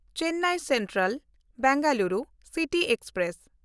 Chennai Central-Bengaluru city express